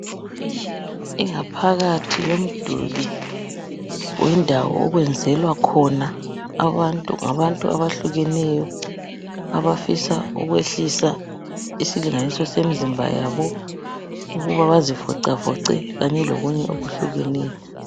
Ingaphakathi yomduli wendawo okwenzelwa khona abantu, ngabantu abahlukeneyo abafisa ukwehlisa isilinganiso semizimba yabo ukuba bazifocafoce kanye lokunye okuhlukeneyo.